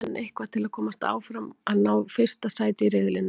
Við þurfum enn eitthvað til að komast áfram og að ná fyrsta sæti í riðlinum.